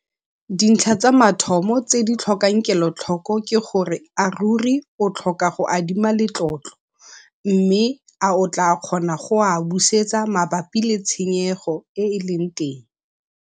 Dintlha tsa mathomo tse di tlhokang kelotlhoko ke gore a ruri o tlhoka go adima letlotlo, mme a o tlaa kgona go a busetsa mabapi le tshenyego e e leng teng.